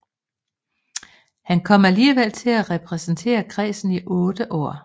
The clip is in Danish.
Han kom alligevel til at repræsentere kredsen i otte år